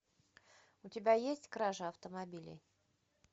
у тебя есть кража автомобилей